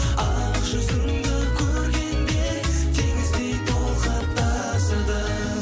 ақ жүзіңді көргенде теңіздей толқып тасыдым